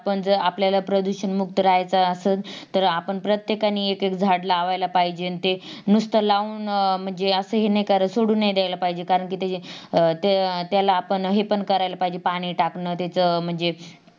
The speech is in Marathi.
पण जर आपल्याला प्रदूषण मुक्त राहायचं असेल तर आपण प्रत्येकाने एक एक झाड लावला पाहिजेत अन ते नुसता लावून म्हणजे असा हे सोडून नाही धायला पाहिजेत कारण कि ते अं ते त्याला आपण हे पण कराल पाहिजेत पाणी टाकन त्याचा म्हणजे